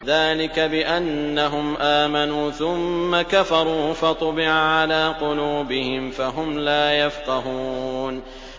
ذَٰلِكَ بِأَنَّهُمْ آمَنُوا ثُمَّ كَفَرُوا فَطُبِعَ عَلَىٰ قُلُوبِهِمْ فَهُمْ لَا يَفْقَهُونَ